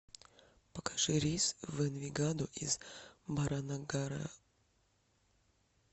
покажи рейс в энвигадо из баранагара